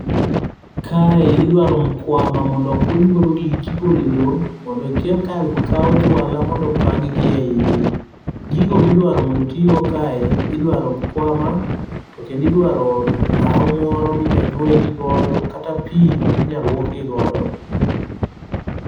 Kae idware mkuama mondo okuny godo gigi ka igole lowo kawo juala mondo opang'gi e yie, gigo ma idwaro mondo otigo kaendi , idwaro mkuama, to kendo idwaro lawo moro ma inyalo ywegigo kata pi minyalo lwokgi godo